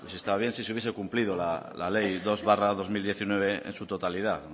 está bien si se hubiese cumplido la ley dos barra dos mil diecinueve en su totalidad